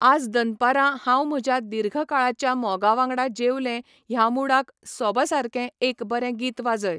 आज दनपारां हांव म्हज्या दीर्घकाळाच्या मोगावांगडा जेवलें ह्या मूडाक सोबसारकें एक बरें गीत वाजय